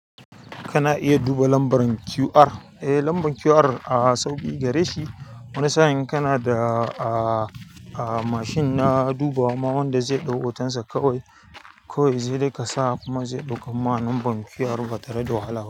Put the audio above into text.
Kana iya duba lambar QR, eh lambar QR a sau biyu gare shi. Wani sa'in kana da a, a mashin na dubawa ma wanda zai ɗau hoton sa kawai. Kawai zai dai kasa kuma zai ɗaukar ma lambar QR batare da wahala.